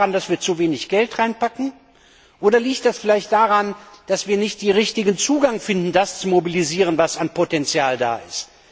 Liegt das daran, dass wir zu wenig Geld bereitstellen, oder liegt das vielleicht daran, dass wir nicht den richtigen Zugang finden, um das zu mobilisieren, was an Potenzial da ist?